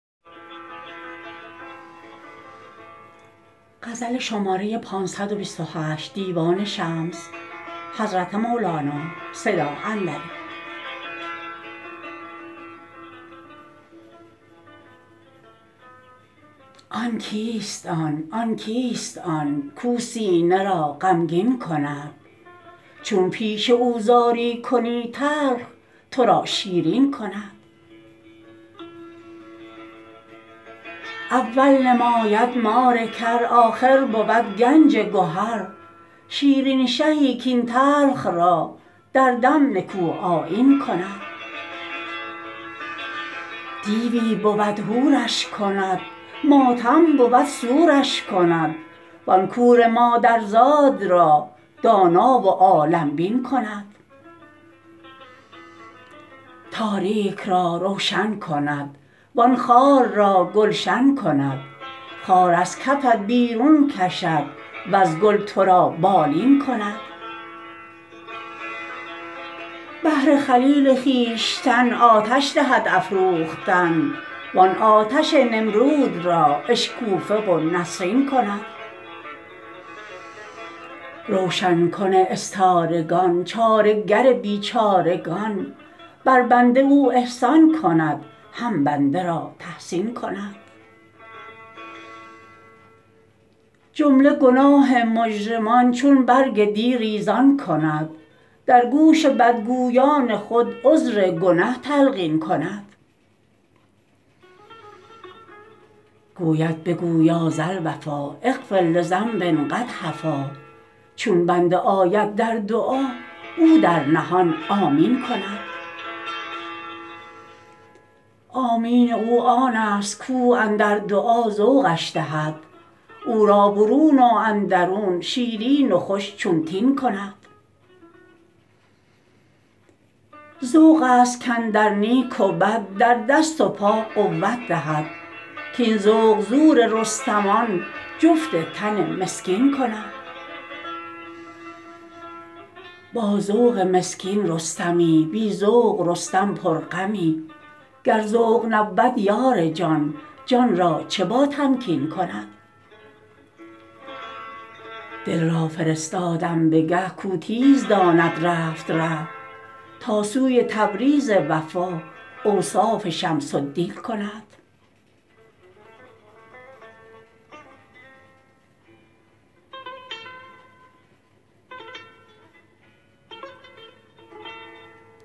آن کیست آن آن کیست آن کاو سینه را غمگین کند چون پیش او زاری کنی تلخ تو را شیرین کند اول نماید مار کر آخر بود گنج گهر شیرین شهی کاین تلخ را در دم نکوآیین کند دیوی بود حورش کند ماتم بود سورش کند وان کور مادرزاد را دانا و عالم بین کند تاریک را روشن کند وان خار را گلشن کند خار از کفت بیرون کشد وز گل تو را بالین کند بهر خلیل خویشتن آتش دهد افروختن وان آتش نمرود را اشکوفه و نسرین کند روشن کن استارگان چاره گر بیچارگان بر بنده او احسان کند هم بند را تحسین کند جمله گناه مجرمان چون برگ دی ریزان کند در گوش بدگویان خود عذر گنه تلقین کند گوید بگو یا ذا الوفا اغفر لذنب قد هفا چون بنده آید در دعا او در نهان آمین کند آمین او آنست کاو اندر دعا ذوقش دهد او را برون و اندرون شیرین و خوش چون تین کند ذوق ست کاندر نیک و بد در دست و پا قوت دهد کاین ذوق زور رستمان جفت تن مسکین کند با ذوق مسکین رستمی بی ذوق رستم پرغمی گر ذوق نبود یار جان جان را چه باتمکین کند دل را فرستادم به گه کاو تیز داند رفت ره تا سوی تبریز وفا اوصاف شمس الدین کند